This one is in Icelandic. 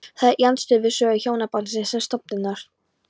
Það er í andstöðu við sögu hjónabandsins sem stofnunar.